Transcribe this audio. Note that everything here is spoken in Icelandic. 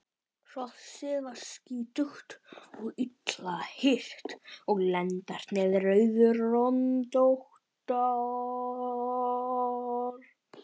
Hrossið var skítugt og illa hirt og lendarnar rauðröndóttar.